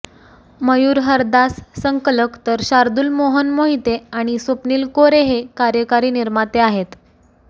मयूर हरदास संकलक तर शार्दूल मोहन मोहिते आणि स्वप्निल कोरेहे कार्यकारी निर्माते आहेत